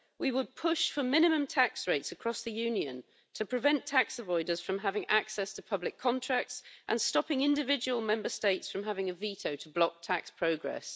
We would push for minimum tax rates across the Union, prevent tax avoiders from having access to public contracts and stop individual Member States from having a veto to block tax progress.